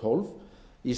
tólf í